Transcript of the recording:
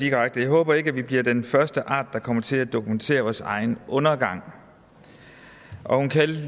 jeg håber ikke at vi bliver den første art der kommer til at dokumentere vores egen undergang og hun kaldte